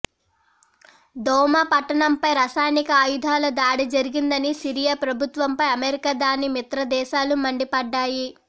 Douma పట్టణంపై రసాయనిక ఆయుధాల దాడి జరిగిందని సిరియా ప్రభుత్వంపై అమెరికా దాని మిత్రదేశాలు మండిపడ్డాయి